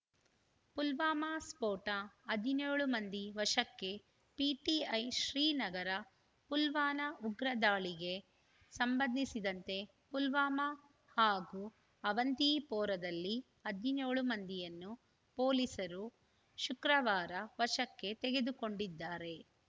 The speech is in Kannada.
ಪುಲ್ವಾಮಾ ಸ್ಫೋಟ ಹದಿನ್ಯೋಳು ಮಂದಿ ವಶಕ್ಕೆ ಪಿಟಿಐ ಶ್ರೀನಗರ ಪುಲ್ವಾಮಾ ಉಗ್ರ ದಾಳಿಗೆ ಸಂಬಂಧಿಸಿದಂತೆ ಪುಲ್ವಾಮಾ ಹಾಗೂ ಅವಂತಿಪೋರಾದಲ್ಲಿ ಹದಿನ್ಯೋ ಳು ಮಂದಿಯನ್ನು ಪೊಲೀಸರು ಶುಕ್ರವಾರ ವಶಕ್ಕೆ ತೆಗೆದುಕೊಂಡಿದ್ದಾರೆ